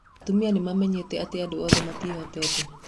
Atumia nĩ mamenyete atĩ andũ othe matiĩhoteete.